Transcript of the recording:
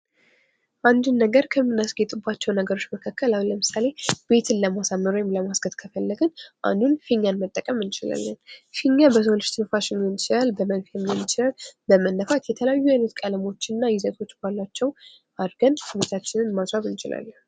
አንድ ነገር ከምናስጌጥባቸው ነገሮች መካከል አሁን ለምሳሌ ቤትን ለመሳመር ወይም ለማስጌጥ ከፈለግን አንዱን ፊኛን መጠቀም እንችላለን። ፊኛ በሰው ልጅ ትንፋሽ ሊሆን ይችላል በመንፊያ ሊሆን ይችላል በመነፋት የተለያዩ አይነት ቀለሞች እና ይዘቶች ባላቸው አርገን ቤታችንን ማስዋብ እንችላለን።